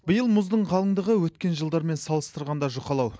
биыл мұздың қалыңдығы өткен жылдармен салыстырғанда жұқалау